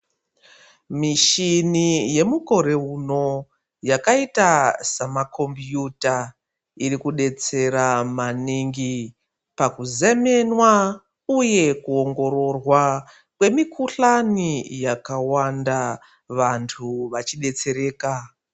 Mishini yemukore uno yakaita samakombiyuta iri kudetsera mani gi pakuzemenwa uye kuongororwa kwemikhuhlani yakawanda vanhu vachidetsereka .